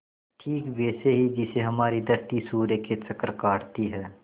ठीक वैसे ही जैसे हमारी धरती सूर्य के चक्कर काटती है